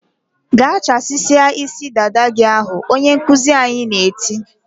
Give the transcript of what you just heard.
"Gaa chasisia isi dada gị ahụ!" Onye nkuzi anyị na-eti.